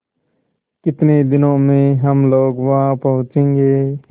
कितने दिनों में हम लोग वहाँ पहुँचेंगे